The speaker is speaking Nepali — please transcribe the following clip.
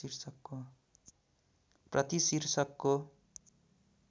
प्रति शीर्षकको